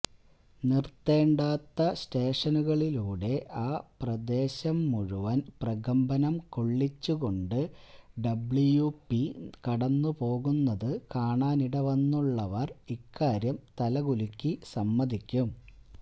നിര്ത്തേണ്ടാത്ത സ്റ്റേഷനുകളിലൂടെ ആ പ്രദേശം മുഴുവന് പ്രകമ്പനം കൊള്ളിച്ചുകൊണ്ട് ഡബ്ലിയു പി കടന്നുപോകുന്നതു കാണാനിട വന്നിട്ടുള്ളവര് ഇക്കാര്യം തലകുലുക്കി സമ്മതിയ്ക്കും